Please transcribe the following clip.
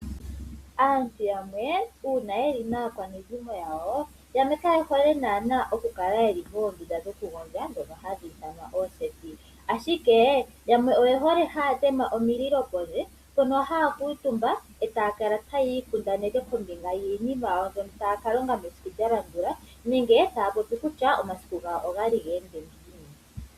Aantu yamwe uuna yeli naakwanezimo yawo, yamwe kayehole naanaa okukala moondunda dhono hadhi ithanwa ooseti, ashike yamwe oyehole haya tema omililo pondje mpono haya kuutumba etaya kala tayiikundaneke kombinga yiinima yawo mbyono taya kalonga mesiku lyalandula nenge taya popi kutya omasiku gawo ogali geende ngiini.